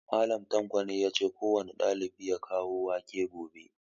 Mallam tanko yace kowane ɗalibi ya kawo wake gobe